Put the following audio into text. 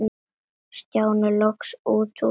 Stjáni loks út úr sér.